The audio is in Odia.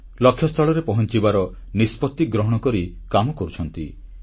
ଲକ୍ଷ୍ୟସ୍ଥଳରେ ପହଂଚିବାର ନିଷ୍ପତ୍ତି ଗ୍ରହଣ କରି କାମ କରୁଛନ୍ତି